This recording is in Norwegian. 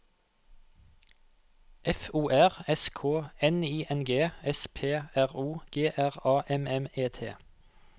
F O R S K N I N G S P R O G R A M M E T